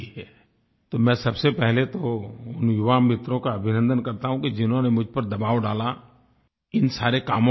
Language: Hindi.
तो मैं सबसे पहले तो उन युवामित्रों का अभिनन्दन करता हूँ कि जिन्होंने मुझ पर दबाव डाला इन सारे कामों के संबंध में